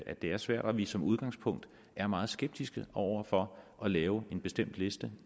at det er svært og at vi som udgangspunkt er meget skeptiske over for at lave en bestemt liste